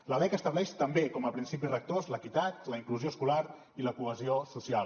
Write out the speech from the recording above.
la lec estableix també com a principis rectors l’equitat la inclusió escolar i la cohesió social